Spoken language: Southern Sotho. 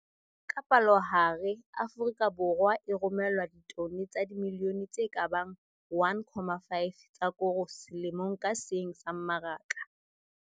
Ka palohare, Afrika Borwa e romellwa ditone tsa dimilione tse ka bang 1, 5 tsa koro selemong ka seng sa mmaraka.